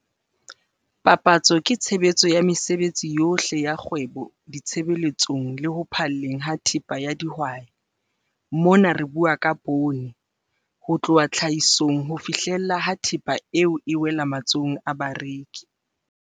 Papatso ke tshebetso ya mesebetsi yohle ya kgwebo ditshebeletsong le ho phalleng ha thepa ya dihwai, mona re bua ka poone, ho tloha tlhahisong ho fihlela ha thepa eo e wela matsohong a bareki.